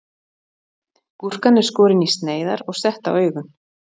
Gúrkan er skorin í sneiðar og sett á augun.